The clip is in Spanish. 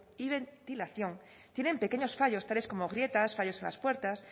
y ventilación tienen pequeños fallos tales como grietas fallos en las puertas